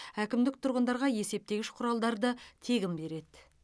әкімдік тұрғындарға есептегіш құралдарды тегін береді